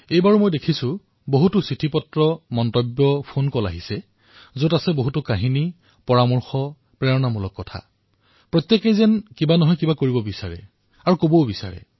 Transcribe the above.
এইবাৰো অসংখ্য চিঠি মন্তব্য আৰু ফোন কল দিহাপৰামৰ্শেৰে ভৰি পৰিছে সকলোৱেই কিবা এটা কৰিবলৈ বিচাৰে অথবা প্ৰকাশ কৰিবলৈ বিচাৰে